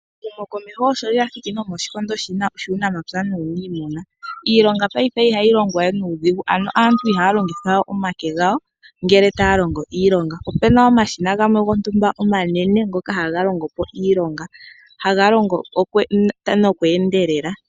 Ehumokomeho osho lya thiki nomoshikondo shuunamapya nuuniimuna. Iilonga paife ihayi longwa we nuudhigu, ano aantu ihaya longitha we omake gawo ngele taya longo iilonga. Ope na omashina gamwe gontumba omanene ngoka haga longo po iilonga haga longo noku endelela.